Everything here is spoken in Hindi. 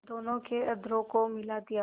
दोनों के अधरों को मिला दिया